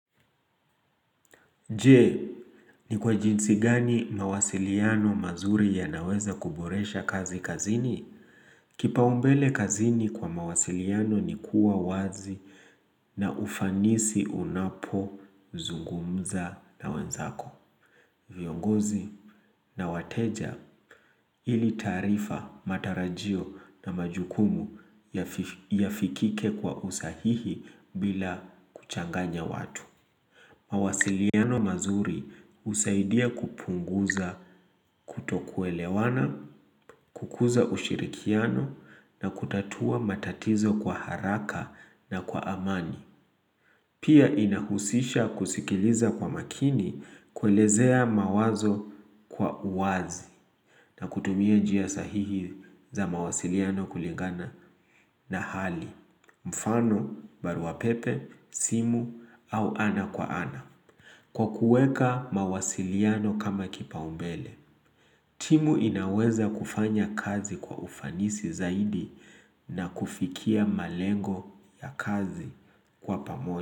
Je, ni kwa jinsi gani mawasiliano mazuri yanaweza kuboresha kazi kazini? Kipaumbele kazini kwa mawasiliano ni kuwa wazi na ufanisi unapozungumza na wenzako, viongozi na wateja ili taarifa, matarajio na majukumu yafikike kwa usahihi bila kuchanganya watu. Mawasiliano mazuri husaidia kupunguza kutokuelewana, kukuza ushirikiano na kutatua matatizo kwa haraka na kwa amani. Pia inahusisha kusikiliza kwa makini, kuelezea mawazo kwa uwazi na kutumia njia sahihi za mawasiliano kulingana na hali. Mfano, barua pepe, simu au ana kwa ana. Kwa kuweka mawasiliano kama kipaumbele, timu inaweza kufanya kazi kwa ufanisi zaidi na kufikia malengo ya kazi kwa pamoja.